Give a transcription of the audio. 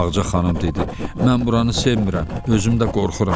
Ağca xanım dedi: Mən buranı sevmirəm, özüm də qorxuram.